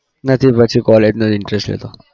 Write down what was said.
નથી પછી college નો interest રહેતો